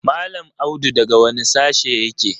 Mallam Audu daga wane sashe yake?